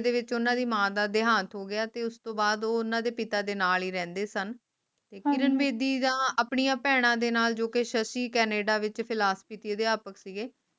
ਦੇ ਵਿੱਚ ਓਹਨਾ ਦੀ ਮਾਂ ਦਾ ਦੇਹਾਂਤ ਹੋ ਗਿਆ ਤੇ ਉਸਤੋਂ ਬਾਅਦ ਉਹ ਉਨ੍ਹਾਂ ਦੇ ਪਿਤਾ ਦੇ ਨਾਲ ਹੀ ਰਹਿੰਦੇ ਸਨ ਕਿਰਨ ਬੇਦੀ ਦਾ ਆਪਣੀਆਂ ਭੈਣਾਂ ਦੇ ਨਾਲ ਜੋ ਕਿ ਸ਼ਸ਼ੀ ਕੈਨੇਡਾ ਵਿਚ Philosophy ਦੇ ਅਧਿਆਪਕ ਸੀਗੇ